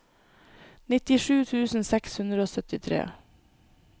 nittisju tusen seks hundre og syttitre